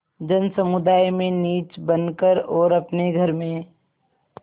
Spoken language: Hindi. जनसमुदाय में नीच बन कर और अपने घर में